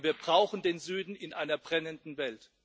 Aber wir brauchen den Süden in einer brennenden Welt.